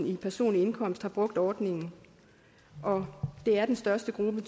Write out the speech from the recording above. i personlig indkomst har brugt ordningen og det er den største gruppe